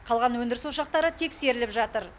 қалған өндіріс ошақтары тексеріліп жатыр